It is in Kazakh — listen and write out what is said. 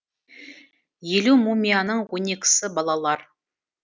елу мумияның он екісі балалар